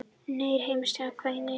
Nýr heimsmeistari kvenna í skák